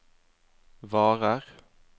varer